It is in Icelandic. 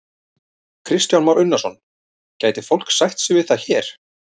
Kristján Már Unnarsson: Gæti fólk sætt sig við það hér?